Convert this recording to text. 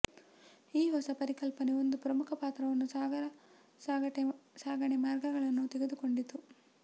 ಈ ಹೊಸ ಪರಿಕಲ್ಪನೆ ಒಂದು ಪ್ರಮುಖ ಪಾತ್ರವನ್ನು ಸಾಗರ ಸಾಗಣೆ ಮಾರ್ಗಗಳನ್ನು ತೆಗೆದುಕೊಂಡಿತು